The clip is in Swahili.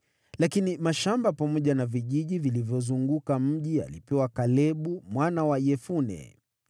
Lakini mashamba pamoja na vijiji vilivyouzunguka mji alipewa Kalebu mwana wa Yefune.